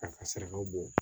K'a ka sarakaw bɔ